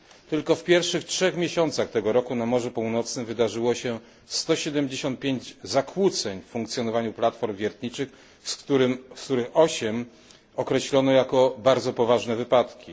Tylko w pierwszych trzech miesiącach tego roku na Morzu Północnym wydarzyło się 175 zakłóceń funkcjonowania platform wiertniczych, z których 8 określono jako bardzo poważne wypadki.